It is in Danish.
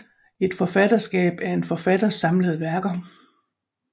Et forfatterskab er en forfatters samlede værker